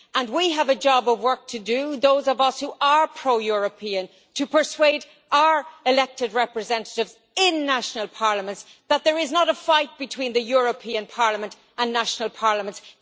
We have a job of work to do, those of us who are pro European, to persuade our elected representatives in national parliaments that there is not a fight between the European Parliament and national parliaments